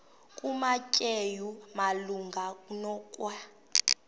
kumateyu malunga nokwa